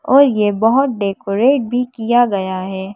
और यह बहुत डेकोरेट भी किया गया है।